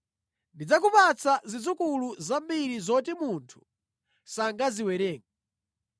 Ndidzakupatsa zidzukulu zambiri zoti munthu sangaziwerenge.”